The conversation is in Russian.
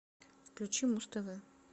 включи муз тв